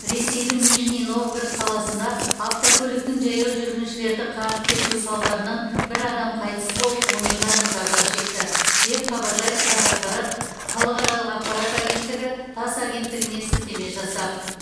ресейдің нижний новгород қаласында автокөліктің жаяу жүргіншілерді қағып кетуі салдарынан бір адам қайтыс болып он екі адам зардап шекті деп хабарлайды қазақпарат халықаралық ақпарат агенттігі тасс агенттігіне сілтеме жасап